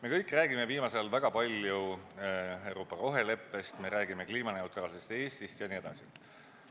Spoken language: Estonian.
Me kõik räägime viimasel ajal väga palju Euroopa roheleppest, me räägime kliimaneutraalsest Eestist jne.